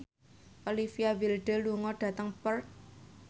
Olivia Wilde lunga dhateng Perth